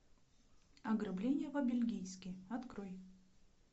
ограбление по бельгийски открой